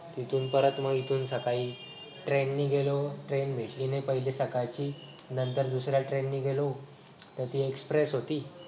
तिथून परत मग इथून सकाळी train ने गेलो train ने पहिली सकाळची नंतर दुसऱ्या train ने गेलो तर ती express होती.